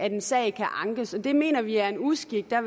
en sag kan ankes det mener vi er en uskik der